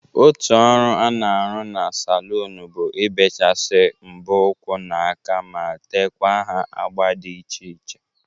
Otu ọrụ a na-arụ na salụnụ bụ ibechasi mbọ ụkwụ na aka ma tekwa ha agba dị iche iche.